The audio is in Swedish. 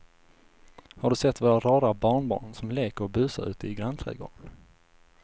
Har du sett våra rara barnbarn som leker och busar ute i grannträdgården!